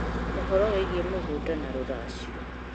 ũhoro wĩgĩĩ mĩgũnda na rũracio